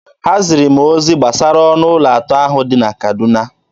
Ha ziri m ozi gbasara ọnụ ụlọ atọ ahụ dị na Kaduna.